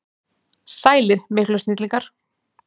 Sælir miklu snillingar!